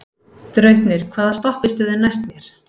Draupnir, hvaða stoppistöð er næst mér?